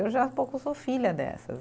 Eu já sou filha dessas.